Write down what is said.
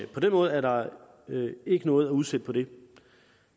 på den måde er der ikke noget at udsætte på det